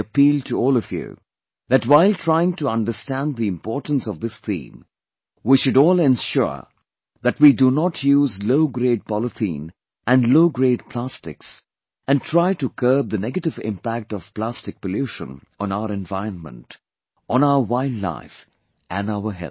I appeal to all of you, that while trying to understand the importance of this theme, we should all ensure that we do not use low grade polythene and low grade plastics and try to curb the negative impact of plastic pollution on our environment, on our wild life and our health